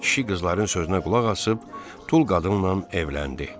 Kişi qızların sözünə qulaq asıb tul qadınla evləndi.